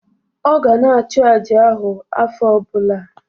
Ọ ga na-achụ àjà ahụ afọ ọbụla